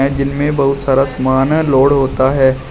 जिनमे बहोत सारा सामान लोड होता है।